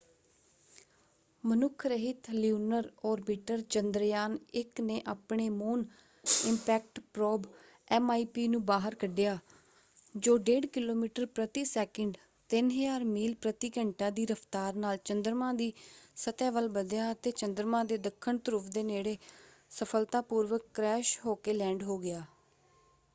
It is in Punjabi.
ਮਨੁੱਖ ਰਹਿਤ ਲਿਊਨਰ ਓਰਬਿਟਰ ਚੰਦਰਯਾਨ-1 ਨੇ ਆਪਣੇ ਮੂਨ ਇਪੈਕਟ ਪ੍ਰੋਬ ਐਮਆਈਪੀ ਨੂੰ ਬਾਹਰ ਕੱਢਿਆ ਜੋ 1.5 ਕਿਲੋਮੀਟਰ ਪ੍ਰਤੀ ਸੈਕਿੰਡ 3000 ਮੀਲ ਪ੍ਰਤੀ ਘੰਟਾ ਦੀ ਰਫਤਾਰ ਨਾਲ ਚੰਦਰਮਾ ਦੀ ਸਤਹ ਵੱਲ ਵਧਿਆ ਅਤੇ ਚੰਦਰਮਾ ਦੇ ਦੱਖਣ ਧਰੁਵ ਦੇ ਨੇੜੇ ਸਫਲਤਾਪੂਰਵਕ ਕ੍ਰੈਸ਼ ਹੋਕੇ ਲੈਂਡ ਹੋ ਗਿਆ।